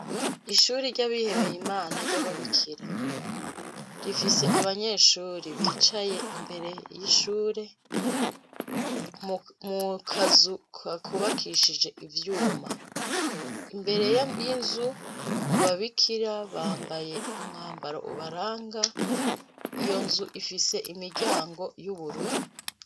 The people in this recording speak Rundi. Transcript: Ishure ryabihebey'Imana ryababikira, rifise abanyeshure bicaye imbere y'ishure mu kazu kubakishijwe ivyuma. Imbere y'inzu ababikira bambaye umwanbaro ubaranga, iyo nzu ifise imiryango yubururu.